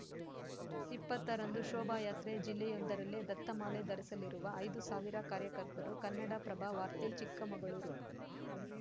ಇಪ್ಪತ್ತರಂದು ಶೋಭಾಯಾತ್ರೆ ಜಿಲ್ಲೆಯೊಂದರಲ್ಲೇ ದತ್ತಮಾಲೆ ಧರಿಸಲಿರುವ ಐದು ಸಾವಿರ ಕಾರ್ಯಕರ್ತರು ಕನ್ನಡಪ್ರಭವಾರ್ತೆ ಚಿಕ್ಕಮಗಳೂರು